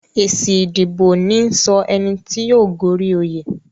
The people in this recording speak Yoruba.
Èsì ìdìbò níí sọ ẹni tí yóò gorí oyè